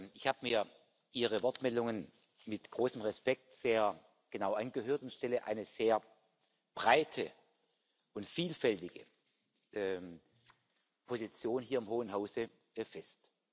Ich habe mir Ihre Wortmeldungen mit großem Respekt sehr genau angehört und stelle eine sehr breite und vielfältige Position hier im hohen Hause fest.